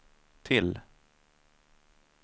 till